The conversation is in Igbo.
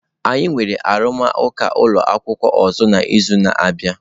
Anyị nwere arụmụka ụlọ akwụkwọ ọzọ n'izu na-abịa.